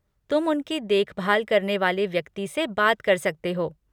तुम उनकी देखभाल करने वाले व्यक्ति से बात कर सकते हो।